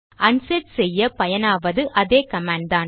unset செய்ய பயனாவது அதே கமாண்ட் தான்